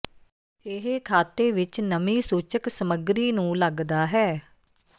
ਇਹ ਖਾਤੇ ਵਿੱਚ ਨਮੀ ਸੂਚਕ ਸਮੱਗਰੀ ਨੂੰ ਲੱਗਦਾ ਹੈ